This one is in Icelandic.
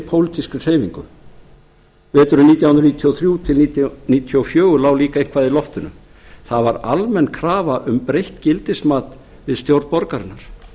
pólitískri hreyfingu veturinn nítján hundruð níutíu og þrjú til nítján hundruð níutíu og fjögur lá líka eitthvað í loftinu það var almenn krafa um breytt gildismat við stjórn borgarinnar